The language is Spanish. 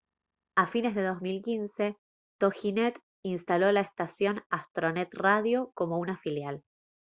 a fines de 2015 toginet instaló la estación astronet radio como una filial